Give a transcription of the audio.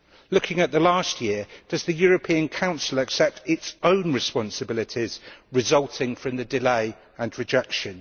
Looking at the past year, does the European Council accept its own responsibilities resulting from the delay and rejection?